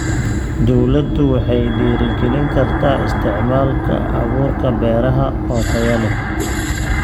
Dawladdu waxay dhiirigelin kartaa isticmaalka abuurka beeraha oo tayo leh.